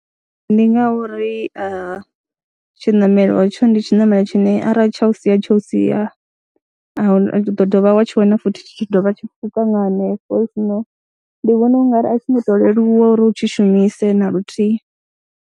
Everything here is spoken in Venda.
Ndi nga uri a tshiṋamelo hetsho ndi tshiṋamelo tshine arali tsha u sia tsho u sia, a hu na u ḓo vha wa tshi wana futhi tshi tshi dovha tshi tshi pfhuka nga hanefho, ndi vhona u nga ri a tshi ngo tou leluwa uri u tshi shumise na luthihi.